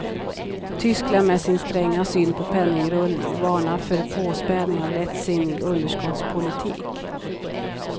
Tyskland med sin stränga syn på penningrullning varnar för påspädning av lättsinnig underskottspolitik.